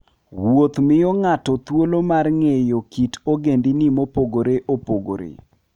Wuoth miyo ng'ato thuolo mar ng'eyo kit ogendini mopogore opogore.